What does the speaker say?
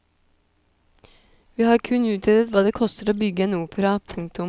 Vi har kun utredet hva det koster å bygge en opera. punktum